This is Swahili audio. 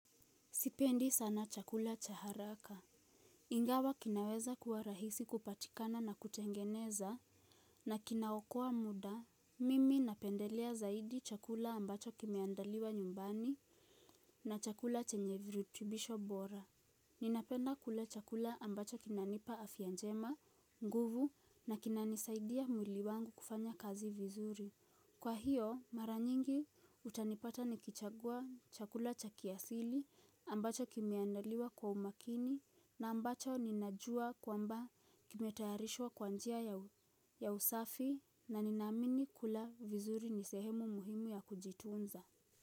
Sipendi sana chakula cha haraka. Ingawa kinaweza kuwa rahisi kupatikana na kutengeneza na kinaokoa muda. Mimi napendelea zaidi chakula ambacho kimeandaliwa nyumbani na chakula chenye virutubisho bora. Ninapenda kula chakula ambacho kinanipa afya njema, nguvu na kinanisaidia mwili wangu kufanya kazi vizuri. Kwa hiyo mara nyingi utanipata nikichagua chakula cha kiasili ambacho kimeandaliwa kwa umakini na ambacho ninajua kwamba kimetayarishwa kwa njia ya usafi na ninaamini kula vizuri ni sehemu muhimu ya kujitunza.